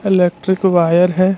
Electric wire है।